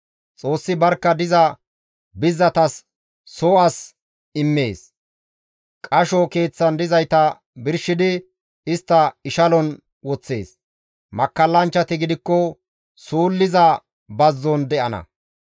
Xoossi barkka diza bizzatas soo as immees; qasho keeththan dizayta birshidi istta ishalon woththees. Makkallanchchati gidikko suulliza bazzon de7ana.